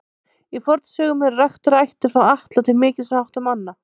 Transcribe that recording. Í fornsögum eru raktar ættir frá Atla til mikils háttar manna.